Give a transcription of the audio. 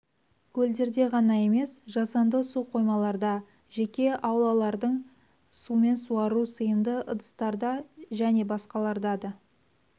көлдерде ғана емес жасанды су қоймаларда жеке аулалардың сумен суару сыйымды ыдыстарда және басқаларда да